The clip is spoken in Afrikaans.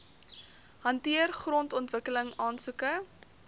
hanteer grondontwikkeling aansoeke